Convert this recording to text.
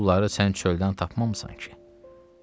O pulları sən çöldən tapmamısan ki?